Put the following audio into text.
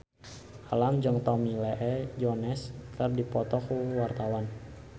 Alam jeung Tommy Lee Jones keur dipoto ku wartawan